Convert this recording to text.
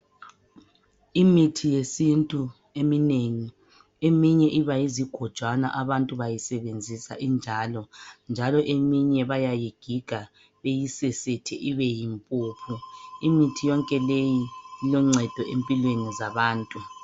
Imithi yesintu eminengi eminye iba yizigojwana abantu bayisebenzisa injalo. Njalo eminye bayayigiga beyisesethe ibe yimpuphu. Imithi yonke leyi iloncedo empilweni zabantu.